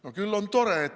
No küll on tore!